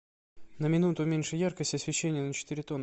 на минуту уменьши яркость освещения на четыре тона